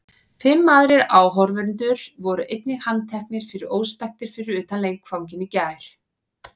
Fimm aðrir áhorfendur voru einnig handteknir fyrir óspektir fyrir utan leikvanginn í gær.